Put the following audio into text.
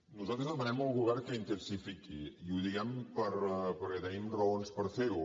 nosaltres demanem al govern que intensifiqui i ho diem perquè tenim raons per fer ho